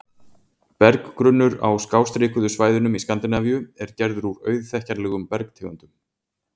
Berggrunnur á skástrikuðu svæðunum í Skandinavíu er gerður úr auðþekkjanlegum bergtegundum.